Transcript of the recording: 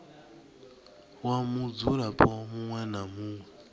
wa mudzulapo muṅwe na muṅwe